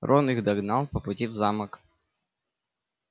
рон их догнал по пути в замок